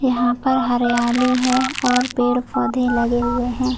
यहाँ पर हरियाली है और पेड़ पौधे लगे हुए है।